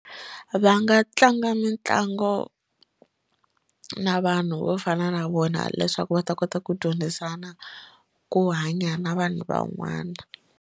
Va nga tlanga mitlango na vanhu vo fana na vona leswaku va ta kota ku dyondzisana ku hanya na vanhu van'wana.